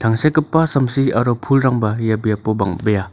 tangsekgipa samsi aro pulrangba ia biapo bangbe·a.